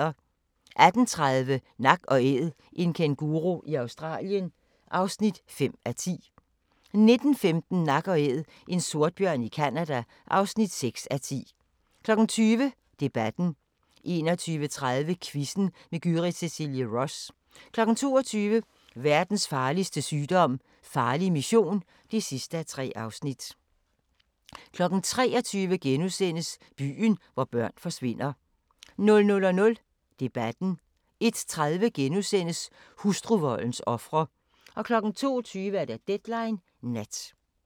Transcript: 18:30: Nak & Æd – en kænguru i Australien (5:10) 19:15: Nak & Æd – en sortbjørn i Canada (6:10) 20:00: Debatten 21:30: Quizzen med Gyrith Cecilie Ross 22:00: Verdens farligste sygdom - farlig mission (3:3) 23:00: Byen, hvor børn forsvinder * 00:00: Debatten * 01:30: Hustruvoldens ofre * 02:20: Deadline Nat